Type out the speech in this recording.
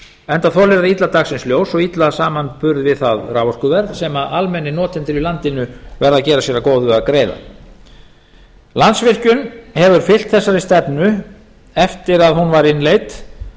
enda þolir það illa dagsins ljós og illa samanburð við það raforkuverð sem almennir notendur í landinu verða að gera sér að góðu að greiða landsvirkjun hefur fylgt þessari stefnu eftir að hún var innleidd